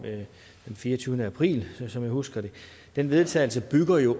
den fireogtyvende april som jeg husker det den vedtagelse bygger jo